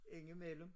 Ind i mellem